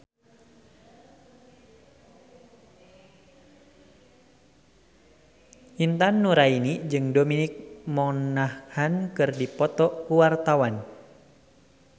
Intan Nuraini jeung Dominic Monaghan keur dipoto ku wartawan